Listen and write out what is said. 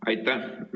Aitäh!